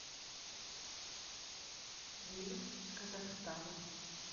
гимн казахстана